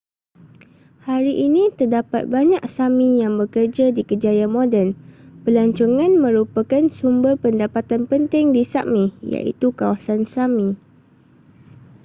hari ini terdapat banyak sámi yang bekerja di kerjaya moden. pelancongan merupakan sumber pendapatan penting di sápmi iaitu kawasan sámi